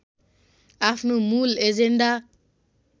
आफ्नो मूल एजेन्डा